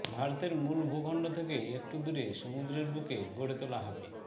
ভারতের মূল ভূখণ্ড থেকে একটু দূরে সমুদ্রের বুকে গড়ে তোলা হবে